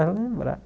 lembrar.